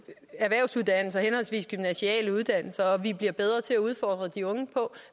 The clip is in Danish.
erhvervsuddannelser henholdsvis gymnasiale uddannelser og at vi bliver bedre til udfordre de unge på